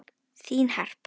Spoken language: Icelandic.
Þín Harpa.